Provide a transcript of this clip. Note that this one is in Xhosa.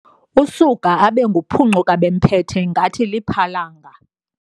Usuka abe nguphuncuka-bembethe ngathi lipalanga.